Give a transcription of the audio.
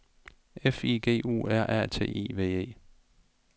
F I G U R A T I V E